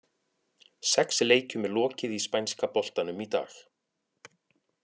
Sex leikjum er lokið í spænska boltanum í dag.